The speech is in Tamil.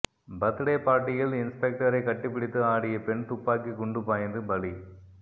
பர்த்டே பார்ட்டியில் இன்ஸ்பெக்டரை கட்டிப்பிடித்து ஆடிய பெண் துப்பாக்கிக் குண்டுபாய்ந்து பலி